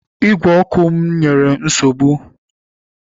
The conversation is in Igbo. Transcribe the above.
Ígwè ọkụ m nyere nsogbu